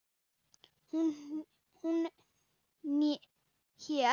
Hún hét